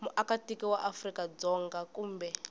muakatiko wa afrika dzonga kumbe